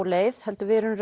leið heldur erum